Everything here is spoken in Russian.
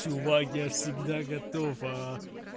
чувак я всегда готов